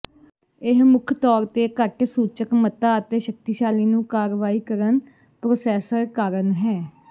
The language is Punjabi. ਇਹ ਮੁੱਖ ਤੌਰ ਤੇ ਘੱਟ ਸੂਚਕ ਮਤਾ ਅਤੇ ਸ਼ਕਤੀਸ਼ਾਲੀ ਨੂੰ ਕਾਰਵਾਈ ਕਰਨ ਪ੍ਰੋਸੈਸਰ ਕਾਰਨ ਹੈ